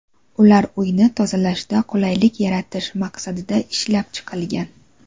Ular uyni tozalashda qulaylik yaratish maqsadida ishlab chiqilgan.